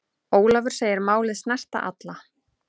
Ólafur segir málið snerta alla.